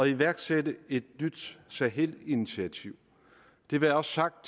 iværksætte et nyt sahelinitiativ det være også sagt